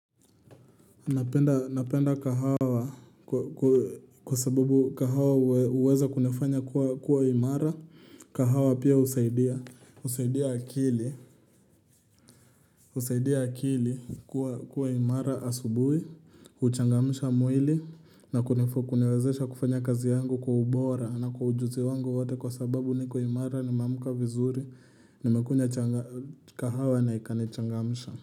Napenda kahawa kwa sababu kahawa huweza kunifanya kuwa imara, kahawa pia husaidia, husaidia akili, husaidia akili kuwa imara asubuhi, huchangamisha mwili na kuniwezesha kufanya kazi yangu kwa ubora na kwa ujuzi wangu wote kwa sababu niko imara nimeamka vizuri, nimekunywa kahawa na ikanichangamsha.